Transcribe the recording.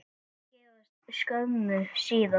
Þau giftust skömmu síðar.